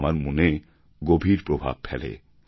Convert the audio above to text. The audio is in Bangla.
আমার মনে গভীর প্রভাব ফেলে